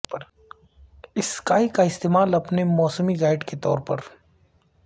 sky کا استعمال اپنے موسمی گائیڈ کے طور پر